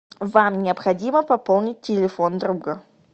вам необходимо пополнить телефон друга